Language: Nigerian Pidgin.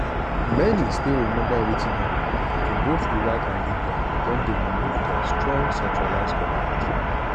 wetin civil conflict for iran go look like?